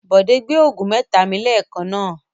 Bọ̀dé gbé òògùn mẹ́ta mi lẹ́ẹ̀kan náà.